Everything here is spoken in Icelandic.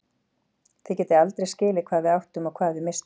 Þið getið aldrei skilið hvað við áttum og hvað við misstum.